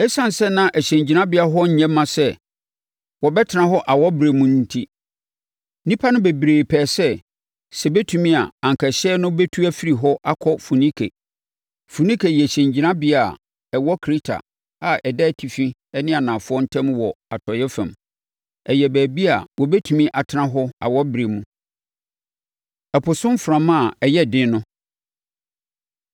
Esiane sɛ na hyɛngyinabea hɔ nyɛ mma sɛ wɔbɛtena hɔ awɔberɛ mu no enti, nnipa no bebree pɛɛ sɛ, sɛ ɛbɛtumi a, anka ɛhyɛn no bɛtu afiri hɔ akɔ Foinike. Foinike yɛ hyɛngyinabea a ɛwɔ Kreta a ɛda atifi ne anafoɔ ntam wɔ Atɔeɛ fam. Ɛyɛ baabi a wɔbɛtumi atena hɔ awɔberɛ mu. Ɛpo So Mframa A Ɛyɛ Den No